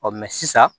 sisan